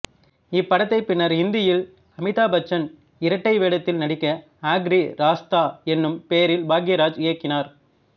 இப்படத்தைப் பின்னர் இந்தியில் அமிதாப் பச்சன் இரட்டை வேடத்தில் நடிக்க ஆக்ரி ராஸ்தா என்னும் பெயரில் பாக்யராஜ் இயக்கினார்